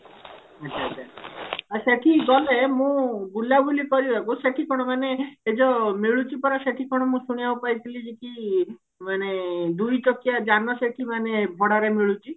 ଆଛା ଆଛା ଆଉ ସେଠିକି ଗଲେ ମୁଁ ବୁଲାବୁଲି କରିବାକୁ ସେଠି କଣ ମାନେ ଏ ଯୋଉ ମିଳୁଛି ପରା ସେଠି କଣ ମୁଁ ଶୁଣିବାକୁ ପାଇଥିଲି କି ମାନେ ଦୁଇଚକିଆ ଯାନ ସେଠି ମାନେ ଭଡାରେ ମିଳୁଛି